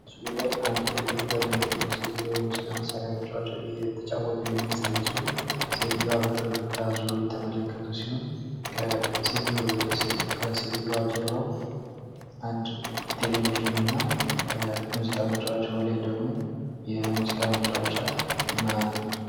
በምስሉ ላይ አንድ ትልቅ በእድሜ የገፉ ሴትዮ የሙዚቃ መሳርያ እየተጫወቱ የሚያሳይ ሲሆን እና ሲትዮዋ በፈገግታ ዙረው እየተመለከቱ ሲሆን ከሴትዮዋ ጀርባ አንድ ቴሌቪዥን እና ከአንድ የሙዚቃ መጫወቻው ላይ ደግሞ የሙዚቃ መጫወቻ ማ...